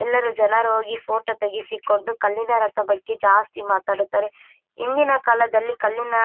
ಎಲ್ಲರು ಜನರು ಹೋಗಿ ಫೋಟೋ ತೆಗೆಸಿಕೊಂಡು ಕಣ್ಣಿನ ರಕ್ತದ ಬಗ್ಗೆ ಜಾಸ್ತಿ ಮಾತಾಡುತ್ತಾರೆ ಇಂದಿನ ಕಾಲದಲ್ಲಿ ಕಲ್ಲಿನ --